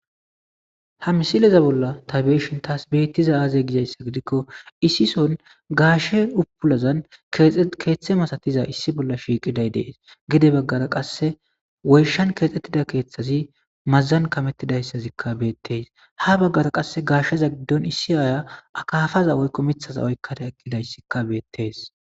ha misileza bolla ta beyishin taas bittiza aaze gizayssa gidikko issison gaashe upulazan keeththe masatiza issi bolla shiiqiday dees gide baggara qasse woyshan keexxettida keeththazi mazan kametidayssazikka beettees ha baggara qasse gaashsheza giddon issi aya akafaza woykko mithaza oykkata egidayssikka beettees